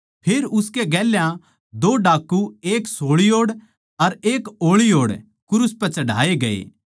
फेर उसकै गेल्या दो डाकू एक सोळी ओड़ अर एक ओळी ओड़ क्रूस पै चढ़ाए गए